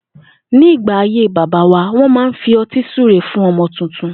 Ní ìgbà ayé bàbá wa, wó̩n máa ń fi o̩tí súre fún o̩mo̩ tuntun